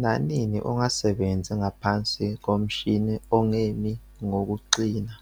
Nanini ungasebenzi ngaphansi komshini ongemi ngokuqina